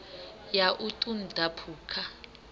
ya u ṱun ḓa phukha